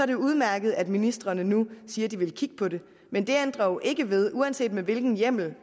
det udmærket at ministrene nu siger at de vil kigge på det men det ændrer jo ikke ved uanset med hvilken hjemmel